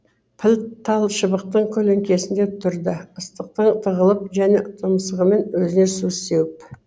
піл тал шыбықтың көлеңкесінде тұрды ыстықтан тығылып және тұмсығымен өзіне су сеуіп